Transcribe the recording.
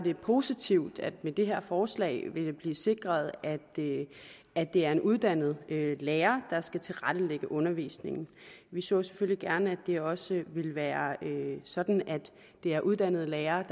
positivt at det med det her forslag vil blive sikret at det er en uddannet lærer der skal tilrettelægge undervisningen vi så selvfølgelig gerne at det også vil være sådan at det er uddannede lærere